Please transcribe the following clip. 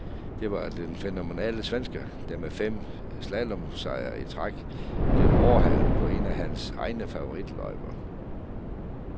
Det var den fænomenale svensker, der med fem slalomsejre i træk, blev overhalet på en af hans egne favoritløjper.